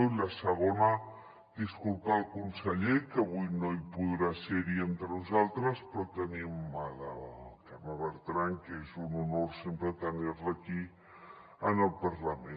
i la segona disculpar el conseller que avui no hi podrà ser entre nosaltres però tenim la carme bertran que és un honor sempre tenir la aquí en el parlament